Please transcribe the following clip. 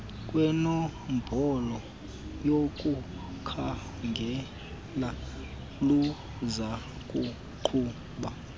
kwenombolo yokukhangela luzakuqhuba